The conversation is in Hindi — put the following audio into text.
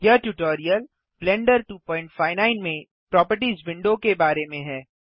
यह ट्यूटोरियल ब्लेंडर 259 में प्रोपर्टिज विंडो के बारे में है